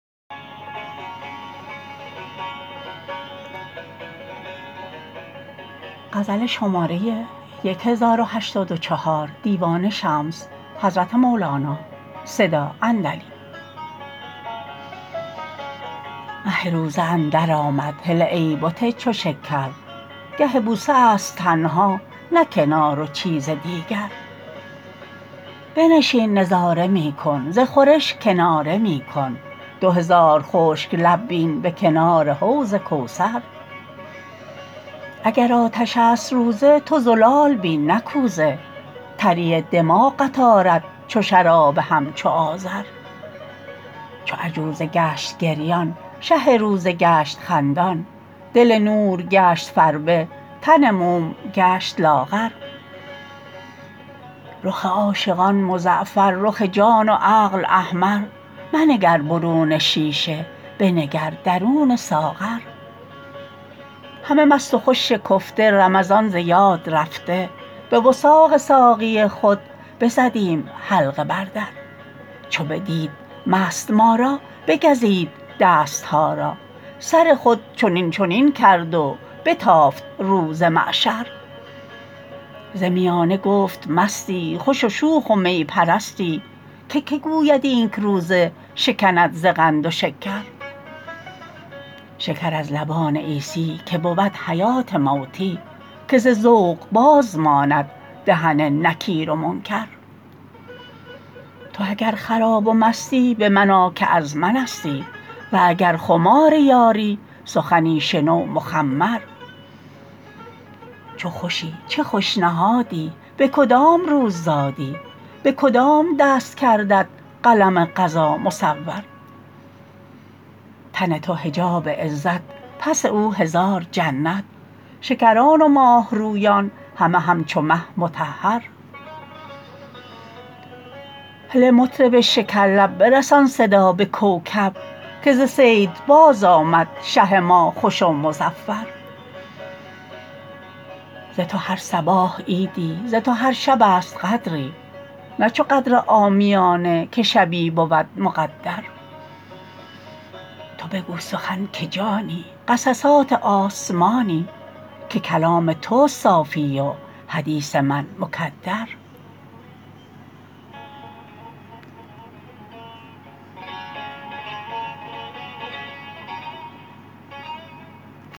مه روزه اندرآمد هله ای بت چو شکر گه بوسه است تنها نه کنار و چیز دیگر بنشین نظاره می کن ز خورش کناره می کن دو هزار خشک لب بین به کنار حوض کوثر اگر آتش است روزه تو زلال بین نه کوزه تری دماغت آرد چو شراب همچو آذر چو عجوزه گشت گریان شه روزه گشت خندان دل نور گشت فربه تن موم گشت لاغر رخ عاشقان مزعفر رخ جان و عقل احمر منگر برون شیشه بنگر درون ساغر همه مست و خوش شکفته رمضان ز یاد رفته به وثاق ساقی خود بزدیم حلقه بر در چو بدید مست ما را بگزید دست ها را سر خود چنین چنین کرد و بتافت رو ز معشر ز میانه گفت مستی خوش و شوخ و می پرستی که کی گوید اینک روزه شکند ز قند و شکر شکر از لبان عیسی که بود حیات موتی که ز ذوق باز ماند دهن نکیر و منکر تو اگر خراب و مستی به من آ که از منستی و اگر خمار یاری سخنی شنو مخمر چو خوشی چه خوش نهادی به کدام روز زادی به کدام دست کردت قلم قضا مصور تن تو حجاب عزت پس او هزار جنت شکران و ماه رویان همه همچو مه مطهر هله مطرب شکرلب برسان صدا به کوکب که ز صید بازآمد شه ما خوش و مظفر ز تو هر صباح عیدی ز تو هر شبست قدری نه چو قدر عامیانه که شبی بود مقدر تو بگو سخن که جانی قصصات آسمانی که کلام تست صافی و حدیث من مکدر